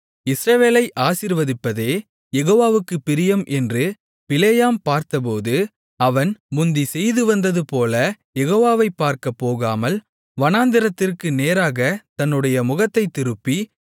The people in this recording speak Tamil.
இஸ்ரவேலை ஆசீர்வதிப்பதே யெகோவாவுக்குப் பிரியம் என்று பிலேயாம் பார்த்தபோது அவன் முந்திச் செய்து வந்ததுபோல யெகோவாவைப் பார்க்கப் போகாமல் வனாந்திரத்திற்கு நேராகத் தன்னுடைய முகத்தைத் திருப்பி